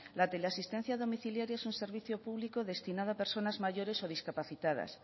la teleasistencia domiciliaria es un servicio público destinado a personas mayores o discapacitadas